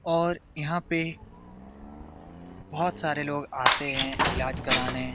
और यहाँ पे बहुत सारे लोग आते हैं ईलाज कराने ।